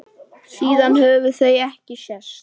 Síðan höfðu þau ekki sést.